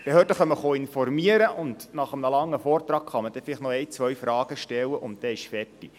Die Behörden informieren, und nach einem langen Vortrag kann man dann vielleicht noch eine oder zwei Fragen stellen und dann ist fertig.